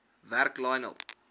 werk lionel